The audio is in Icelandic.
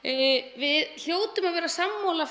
við hljótum að vera sammála